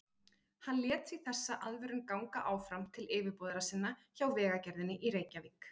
Hann lét því þessa aðvörun ganga áfram til yfirboðara sinna hjá Vegagerðinni í Reykjavík.